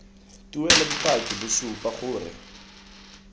tuelo bopaki bo supa gore